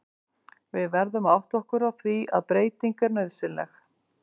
Við verðum að átta okkur á því að breyting er nauðsynleg.